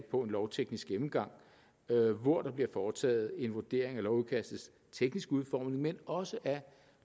på en lovteknisk gennemgang hvor der bliver foretaget en vurdering af lovudkastets tekniske udformning men også af